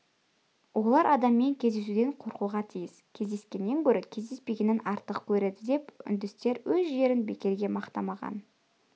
олар адаммен кездесуден қорқуға тиіс кездескеннен гөрі кездеспегенін артық көреді деп үндістер өз жерін бекерге мақтамаған